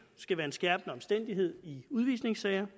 skal være en skærpende omstændighed i udvisningssager